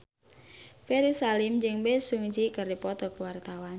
Ferry Salim jeung Bae Su Ji keur dipoto ku wartawan